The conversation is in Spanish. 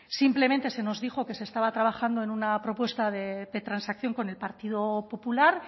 simplemente se nos dijo que se estaba trabajando en una propuesta de transacción con el partido popular